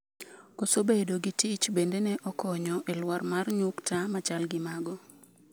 koso bedo gi tich bende ne okonyo e lwar mar nyukta machal gi mago